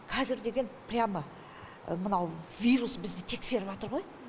қазір деген прямо мынау вирус бізді тексеріватыр ғой